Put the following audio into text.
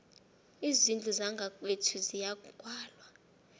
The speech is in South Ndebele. izindlu zangakwethu ziyagwalwa